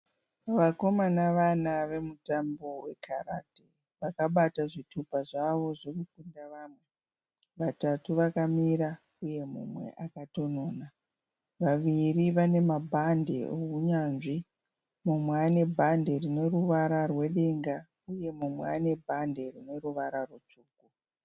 Vakomana vana vemutambo wekarati vakabata zvitupa zvavo zvekukunda vamwe, vatatu vakamira uye mumwe akatonona, vaviri vane mabhandi ehunyanzvi mumwe ane bhadhi rine ruvara rwedenga uye mumwe ane bhadhi rine ruvara rutsvuku.